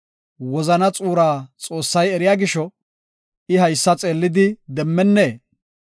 Wozana xuuraa Xoossay eriya gisho, I haysa xeellidi demmennee?